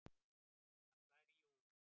Hann slær í og úr.